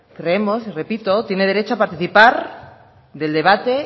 creemos repito tiene derecho a participar del debate